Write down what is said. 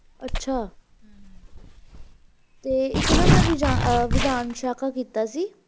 ਅੱਛਾ ਤੇ ਇੱਕ ਨਾ ਮੈਂ ਵਿਧਾਨ ਸ਼ਾਖਾ ਕੀਤਾ ਸੀ